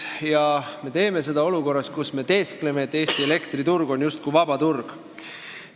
Ja me teeme seda olukorras, kus me teeskleme, et Eesti elektriturg on justkui vaba turg.